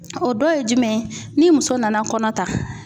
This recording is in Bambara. O dɔ ye jumɛn ye ni muso nana kɔnɔ ta